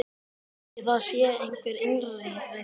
Kannski það sé einhver innri reisa.